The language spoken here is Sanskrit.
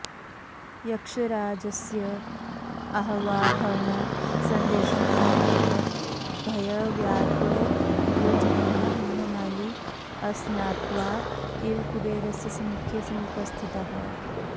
यक्षराजस्य आह्वाहनसन्देशं प्राप्तः भयव्याकुललोचनः हेममाली अस्नात्वा एव कुबेरस्य सम्मुखे समुपस्थितः